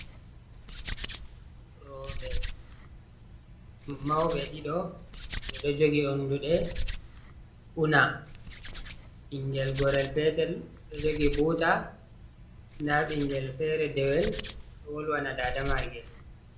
Roɓe maube ɗiɗo ɓedo jogi unduɗe una. Bingel gorel petel ɗo jogi buta, nda bingel fere dewel ɗo wolwana dada magel.